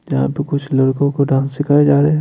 जहां पे कुछ लोगो को डांस सिखाए जा रहे ।